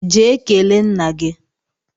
Jee kele nna gi!